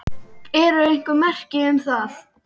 Eru einhver merki um það?